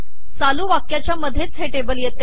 चालू वाक्याच्या मधेच हे टेबल येते